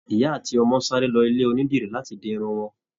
Ìyá àti ọmọ sáré lọ ilé onídìrí láti di Irun wọn